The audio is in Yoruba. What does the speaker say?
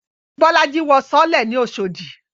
Bolaji wọ sọọ́lẹ̀ ní Oshodi